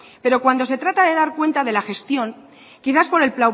pero cuando se trata de dar cuenta de la gestión quizás por el